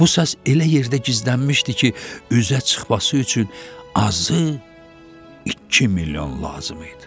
Bu səs elə yerdə gizlənmişdi ki, üzə çıxması üçün azı iki milyon lazım idi.